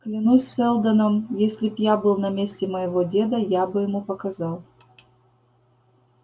клянусь сэлдоном если б я был на месте моего деда я бы ему показал